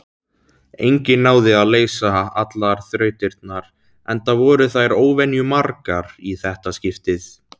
Enginn náði að leysa allar þrautirnar, enda voru þær óvenjumargar í þetta skiptið.